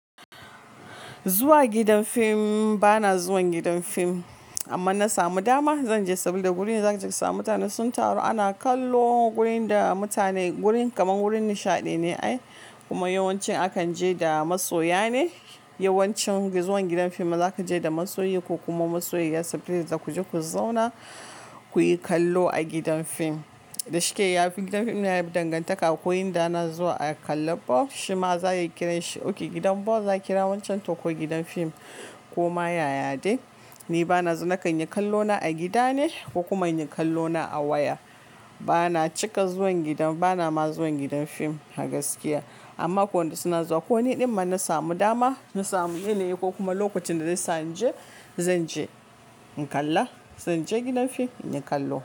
Zuwa gidan fim, bana zuwan gidan fim amma na samu dama zan je saboda gurin za ka ji ka samu mutane sun taru ana kallo gurin da mutane gurin kamar gurin nishaɗi ne ai kuma yawanci akan je da masoya ne. Yawancin zuwan gidan fim za ka je da masoyi ku kuma masoyayya sabili da za ku je ku zauna kuyi kallo a gidan fim. Da shike yafi gidan fim yana dangantaka ko inda na zuwa a kalla ball shima za a yi kiran shi. Ok gidan ball za ki kira wancan to ko gidan fim ko ma yaya dai. Ni bana zuwa nakan yi kallona a gida ne ko kuma yin kallona a waya. Bana cika zuwan gidan bana ma zuwan gidan fim a gaskiya amma ko in suna zuwa ko ni ɗin ma na samu dama na samu yini ko kuma lokacin da zai sa ni je zan je in kalla. Zan je gidan fim in yi kallo.